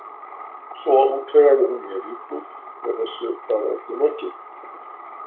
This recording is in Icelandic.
Svo útvegaði hún mér íbúð þegar þessu var öllu lokið.